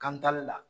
Kan taali la